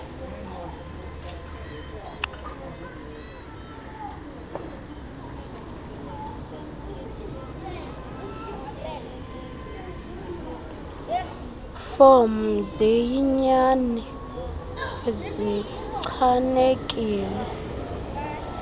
fomu ziyinyani zichanekile